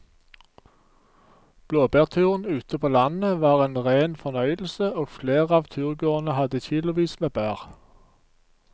Blåbærturen ute på landet var en rein fornøyelse og flere av turgåerene hadde kilosvis med bær.